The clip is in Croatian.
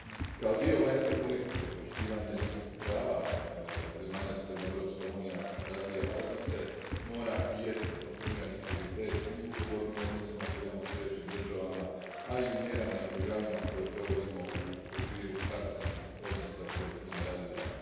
Kao dio vanjske politike, poštovanje ljudskih prava od zemalja s kojima Europska unija razvija odnose mora biti i jest kontinuirani prioritet i u ugovornim odnosima koje imamo s trećim državama, a i u mjerama i programima koje provodimo u okviru partnerskih odnosa koje s njima razvijamo.